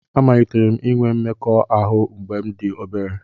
Amalitere m inwe mmekọahụ mgbe m dị obere